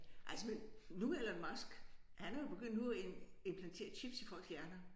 Altså men nu Elon Musk han er jo begyndt nu at ind implantere chips i folks hjerner